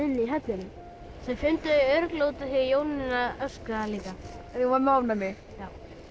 í hellinum þeir fundu þau örugglega út af því að Jónína öskraði líka af því hún var með ofnæmi já